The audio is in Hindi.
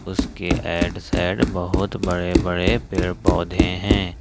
उसके ऐड साइड बहुत बड़े बड़े पेड़ पौधे हैं।